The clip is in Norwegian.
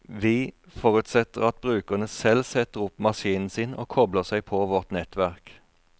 Vi forutsetter at brukerne selv setter opp maskinen sin og kobler seg på vårt nettverk.